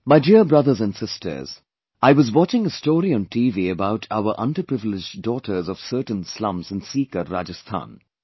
My dear brothers and sisters, I was watching a story on TV about our underprivileged daughters of certain slums in Sikar, Rajasthan